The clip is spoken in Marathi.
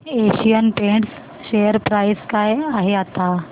एशियन पेंट्स शेअर प्राइस काय आहे आता